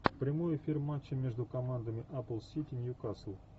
прямой эфир матча между командами апл сити ньюкасл